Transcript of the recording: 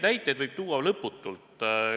Näiteid võib tuua lõputult.